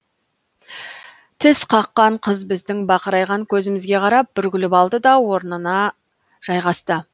тісқаққан қыз біздің бақырайған көзімізге қарап бір күліп алды да орнына жайғасты